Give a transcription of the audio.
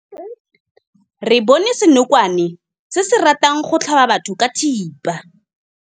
Re bone senokwane se se ratang go tlhaba batho ka thipa.